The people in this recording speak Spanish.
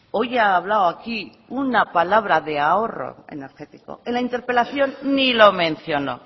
hoy ha hablado aquí una palabra de ahorro energético en la interpelación ni lo mencionó